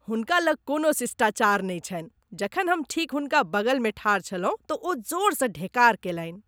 हुनका लग कोनो शिष्टाचार नहि छन्हि । जखन हम ठीक हुनका बगलमे ठाढ़ छलहुँ तऽ ओ जोरसँ ढेकार केलनि।